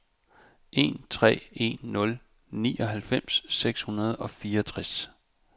en tre en nul nioghalvfems seks hundrede og fireogtres